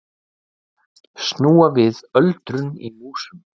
Snúa við öldrun í músum